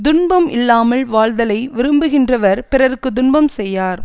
துன்பம் இல்லாமல் வாழ்தலை விரும்புகின்றவர் பிறர்க்கு துன்பம் செய்யார்